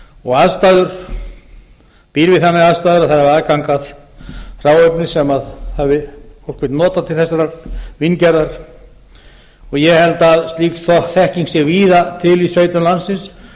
og aðstæður býr við þannig aðstæður að það hafi aðgang að hráefni sem fólk vill nota til þessarar víngerðar og ég held að slík þekking sé víða til í sveitum landsins